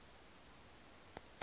the english text